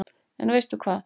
En veistu hvað